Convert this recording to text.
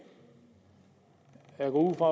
jeg går ud fra